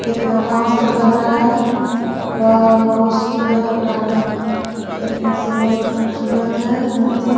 इतना मस्त लग रहा है वाह बहुत सुंदर लग रहा है देखने से बहुत खूबसूरत है।